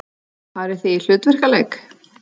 Farið þið í hlutverkaleik?